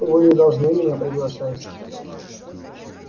вы не должны меня приглашать